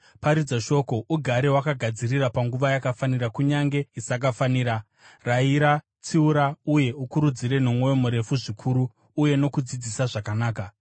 Paridza shoko; ugare wakagadzirira panguva yakafanira kunyange isakafanira; rayira, tsiura, uye ukurudzire nomwoyo murefu zvikuru uye nokudzidzisa zvakanaka.